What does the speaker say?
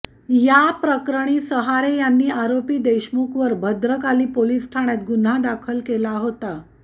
या प्रकरणी सहारे यांनी आरोपी देशमुखवर भद्रकाली पोलीस ठाण्यात गुन्हा दाखल केला होता